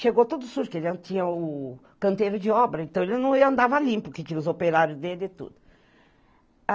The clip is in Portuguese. Chegou todo sujo, porque ele não tinha o o canteiro de obra, então ele não andava limpo, porque tinha os operários dele e tudo.